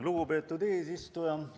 Lugupeetud eesistuja!